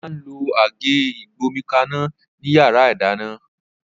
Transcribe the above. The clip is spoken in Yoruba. Ola n lo Àgé ìgbómikaná ni yàrá ìdáná